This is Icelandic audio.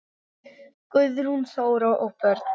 Guðrún Þóra og börn.